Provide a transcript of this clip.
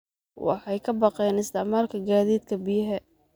Waxay ka baqeen isticmaalka gaadiidka biyaha.